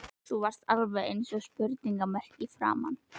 Þú varst alveg eins og spurningarmerki í framan.